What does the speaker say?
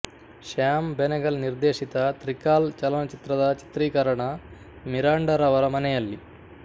ಶ್ಯಾಮ್ ಬೆನೆಗಲ್ ನಿರ್ದೇಶಿತ ತ್ರಿಕಾಲ್ ಚಲನಚಿತ್ರದ ಚಿತ್ರೀಕರಣ ಮಿರಾಂಡರವರ ಮನೆಯಲ್ಲಿ